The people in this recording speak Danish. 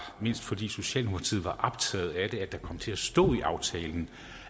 fordi socialdemokratiet var optaget af det at der kom til at stå i aftalen